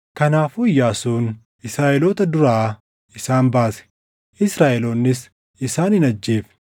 Kanaafuu Iyyaasuun Israaʼeloota duraa isaan baase; Israaʼeloonnis isaan hin ajjeefne.